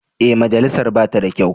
Ee, majalisar ba ta da kyau.